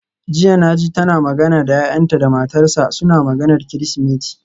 Jiya naji tana magana da yayanta da matarsa, suna maganar Kirsimeti.